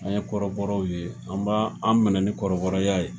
An ye kɔrɔbɔrɔw ye, an b'an minɛ ni kɔrɔbɔrɔya ye.